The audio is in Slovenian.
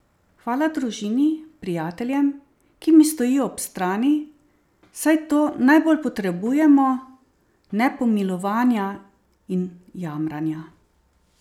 Hvala družini, prijateljem, ki mi stojijo ob strani, saj to najbolj potrebujemo, ne pomilovanja in jamranja!